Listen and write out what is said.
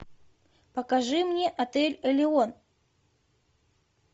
покажи мне отель элеон